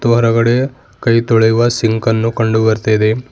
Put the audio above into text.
ಮತ್ತು ಹೊರಗಡೆ ಕೈ ತೊಳೆಯುವ ಸಿಂಕನ್ನು ಕಂಡು ಬರ್ತಾ ಇದೆ.